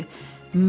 Mən?